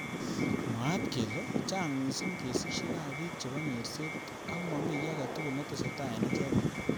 Mwaat kele chang mising kesishek ab bik chebo nyerset ak.momi ki age tugul netesetai eng icheket.